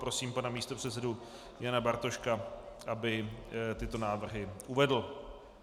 Prosím pana místopředsedu Jana Bartoška, aby tyto návrhy uvedl.